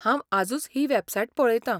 हांव आजूच ही वॅबसायट पळयतां.